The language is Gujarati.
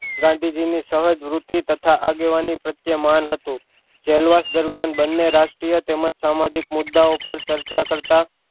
ગાંધીજી ની સહજ વૃતિ તથા આગેવાની પ્રત્યે માન હતું જેલવાસ દરમિયાન બંને રાષ્ટ્રીય તેમજ સામાજિક મુદ્દા ઑ પર ચર્ચા કરતાં